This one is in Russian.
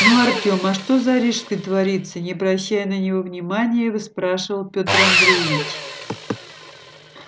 ну артем а что за рижской творится не обращая на него внимания выспрашивал петр андреевич